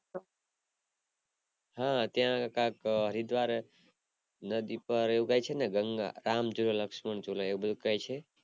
હા ત્યાં કાક હરિદ્વાર નદી પર એવું કાય છે ને, ગંગા, રામ જુલા, લક્ષ્મણ જુલા એવું કાય છે